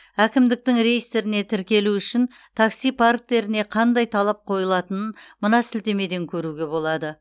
әкімдіктің реестріне тіркелу үшін такси парктеріне қандай талаптар қойылатынын мына сілтемеден көруге болады